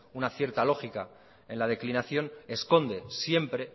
una cierta lógica en la declinación esconde siempre